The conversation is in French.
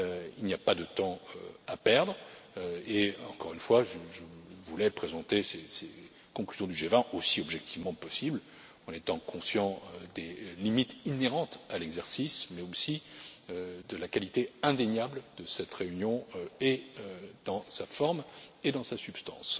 Il n'y a pas de temps à perdre et, encore une fois, je voulais présenter ces conclusions du G20 aussi objectivement que possible, en étant conscient des limites inhérentes à l'exercice, mais aussi de la qualité indéniable de cette réunion, et dans sa forme et dans sa substance.